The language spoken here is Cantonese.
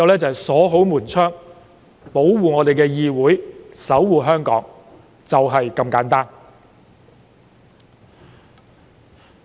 只能鎖好門窗、保護議會、守護香港，就是這麼簡單。